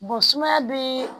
sumaya bɛ